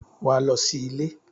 Wà á lọ sí ilé!